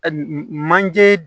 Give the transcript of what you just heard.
manje